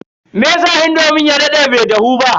meyasa indomin ya dade bai dahu ba?